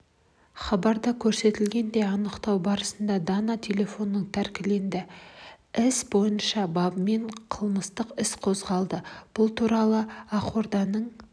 хабарда көрсетілгендей анықтау барысында дана телефоны тәркіленді іс бойынша бабымен қылмыстық іс қозғалды бұл туралы ақорданың